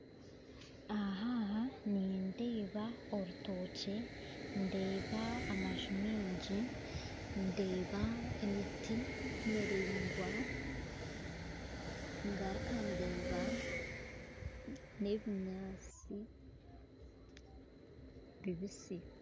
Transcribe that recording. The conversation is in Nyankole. Aha aha nindeeba orutookye ndeeba amaju maingi ndeeba emiti miraingwa ngaruka ndeeba n'ebinyaatsi bibisi